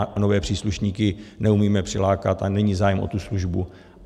A nové příslušníky neumíme přilákat a není zájem o tu službu.